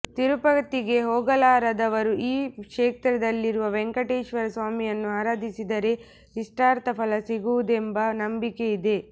ತಿರುಪತಿಗೆ ಹೋಗಲಾಗದವರು ಈ ಕ್ಷೇತ್ರದಲ್ಲಿರುವ ವೇಂಕಟೇಶ್ವರ ಸ್ವಾಮಿಯನ್ನು ಆರಾಧಿಸಿದರೆ ಇಷ್ಟಾರ್ಥ ಫಲ ಸಿಗುವುದೆಂಬ ನಂಬಿಕೆ ಇದೆ